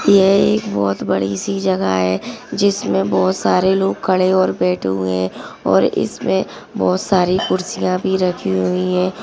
यह एक बहुत बड़ी सी जगह है। जिसमे बहुत सारे लोग खड़े और बैठे हुए है और इसमे बहुत सारी कुर्सिया भी रखी हुई है।